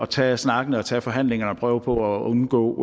tage snakken og tage forhandlingen og prøve på at undgå